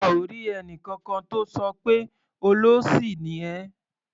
A ò rí ẹnìkankan tó sọ pé "olóṣì ni ẹ́".